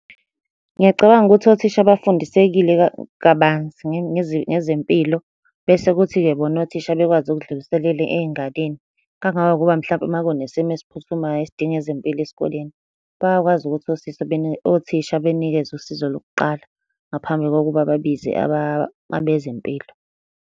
Ngiyacabanga ukuthi othisha bafundisekile kabanzi ngezempilo, bese kuthi-ke bona othisha bekwazi ukudluliselela ey'nganeni. kangangokuba mhlampe uma kunesimo esiphuthumayo esidinga ezempilo esikoleni, bayakwazi ukuthi usista , othisha benikeze usizo lokuqala ngaphambi kokuba babize abezempilo.